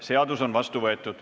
Seadus on vastu võetud.